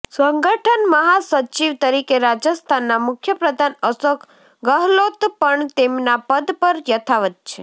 સંગઠન મહાસચિવ તરીકે રાજસ્થાનના મુખ્યપ્રધાન અશોક ગહલોત પણ તેમના પદ પર યથાવત છે